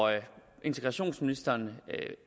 integrationsministeren